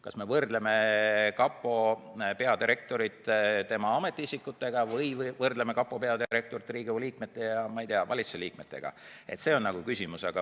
Kas me võrdleme kapo peadirektorit tema alluvate ametiisikutega või võrdleme kapo peadirektorit Riigikogu liikmete ja, ma ei tea, valitsuse liikmetega?